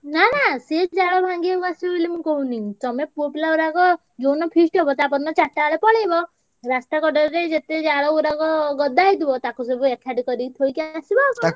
ନା ନା ସିଏ ଜାଳ ଭାଙ୍ଗିଆକୁ ଆସିବେ ବୋଲି ମୁଁ କହୁନି ତମେ ପୁଅପିଲା ଗୁଡାକ ଯୋଉ ଦିନ feast ହବ ତା ପର ଦିନ ଚାରିଟା ବେଳକୁ ପଳେଇବ। ରା~ ସ୍ତା~ କଡରେ ଯାଇ ଯେ ତେ ଜାଳ ଗୁଡାକ ଗଦା ହେଇଥିବ ତାକୁ ସବୁ ଏ~ କାଠି~ କରି ଥୋଇକି ଆସିବ ଆଉ କଣ।